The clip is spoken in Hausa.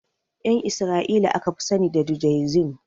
Ƴan isra'ila aka fi sani da judaism